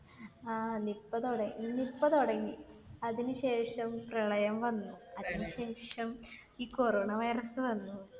ആഹ് Nipah തുടങ്ങി. അതിന് ശേഷം പ്രളയം വന്നു. അതിന് ശേഷം ഈ Corona virus വന്നു.